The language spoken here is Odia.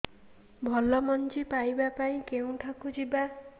ଭଲ ମଞ୍ଜି ପାଇବା ପାଇଁ କେଉଁଠାକୁ ଯିବା